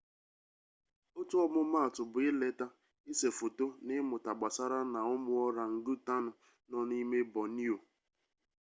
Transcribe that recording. otu ọmụmaatụ bụ ileta ise foto na ịmụta gbasara na ụmụ ọrangụtanụ nọ n'ime bọnioo